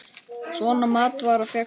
Svona matvara fékkst í búðum.